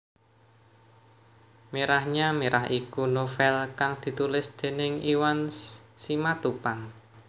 Merahnya Merah iku novèl kang ditulis déning Iwan Simatupang